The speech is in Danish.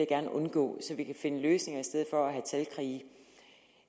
gerne undgå så vi kan finde løsninger i stedet for at have talkrige